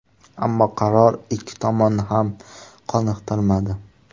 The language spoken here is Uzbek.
Ammo qaror ikki tomonni ham qoniqtirmadi.